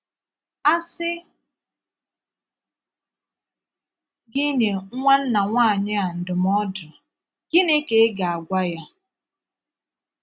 A sị gị nyé nwannà nwaanyị a ndụmọdụ̀, gịnị ka ị ga - agwà ya?